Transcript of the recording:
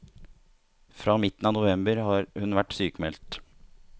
Fra midten av november har hun vært sykmeldt.